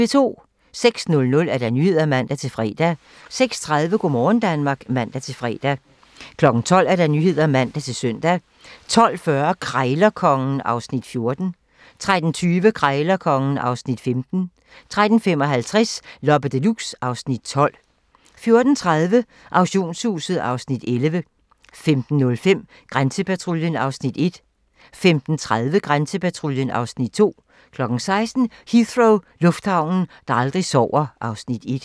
06:00: Nyhederne (man-fre) 06:30: Go' morgen Danmark (man-fre) 12:00: Nyhederne (man-søn) 12:40: Krejlerkongen (Afs. 14) 13:20: Krejlerkongen (Afs. 15) 13:55: Loppe Deluxe (Afs. 12) 14:30: Auktionshuset (Afs. 11) 15:05: Grænsepatruljen (Afs. 1) 15:30: Grænsepatruljen (Afs. 2) 16:00: Heathrow - lufthavnen, der aldrig sover (Afs. 1)